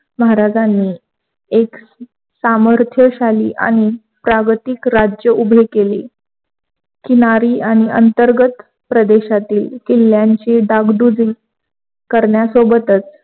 महाराजांनी एक सामार्थशाली आणि प्रागतिक राज्य उभे केले. किनारी आणि अंतर्गत प्रदेशातील किल्ल्याची दागदुबी करण्यासोबतच